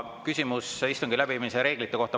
Küsimus istungi läbiviimise reeglite kohta.